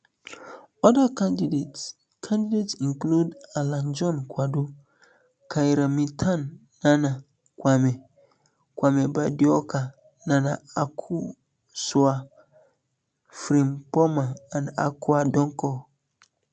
oda candidates candidates include alan john kwadwo kyerema ten nana kwame bediako nana akosua frimpomaa and akua donkor